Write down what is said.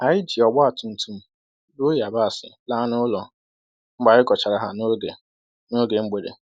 Anyị ji ọgba tụtụm buru yabasị laa n'ụlọ mgbe anyị ghọchara ha n'oge n'oge mgbede.